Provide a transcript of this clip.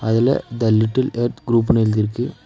மேல the little earth குரூப்னு எழுதிருக்கு.